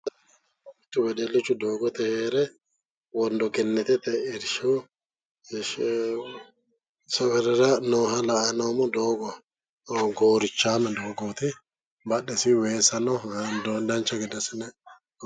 Mittu wedellichu doogote heere wondogenetete irshshu safarera nooha la'anni noommo. doogo goorichaame doogooti badhesiinni weessa no hatto dancha gede assine.